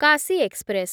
Kashi express